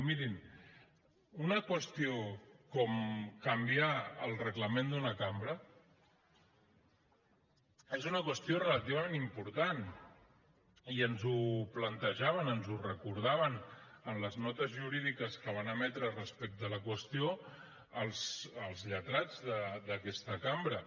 i mirin una qüestió com canviar el reglament d’una cambra és una qüestió relativament important i ens ho plantejaven ens ho recordaven en les notes jurídiques que van emetre respecte a la qüestió els lletrats d’aquesta cambra